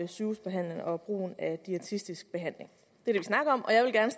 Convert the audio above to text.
sygehusbehandling og brugen af diætetisk behandling det